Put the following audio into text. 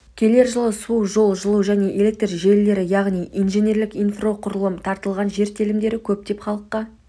келер жылы су жол жылу және электр желілері яғни инженерлік инфрақұрылым тартылған жер телімдері көптеп халыққа